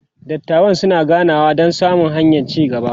dattawan suna ganawa Dan samo hanyan ci gaba